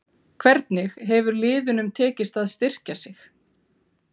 Hvernig hefur liðunum tekist að styrkja sig?